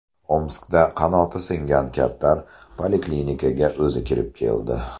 Omskda qanoti singan kaptar poliklinikaga o‘zi kirib keldi.